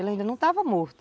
Ele ainda não estava morto.